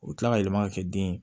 U bɛ tila ka yɛlɛma ka kɛ den ye